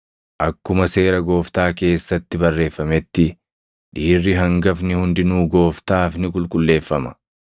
Akkuma Seera Gooftaa keessatti barreeffametti, “Dhiirri hangafni hundinuu gooftaaf ni qulqulleeffama.” + 2:23 \+xt Bau 13:2,12\+xt*